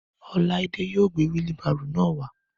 Ọláídé yóò gbé wílí baarò náà wá